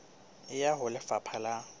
e ya ho lefapha la